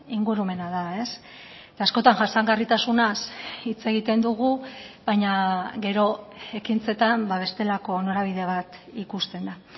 ingurumena da eta askotan jasangarritasunaz hitz egiten dugu baina gero ekintzetan bestelako norabide bat ikusten da